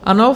Ano.